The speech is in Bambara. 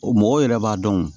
O mɔgɔw yɛrɛ b'a dɔn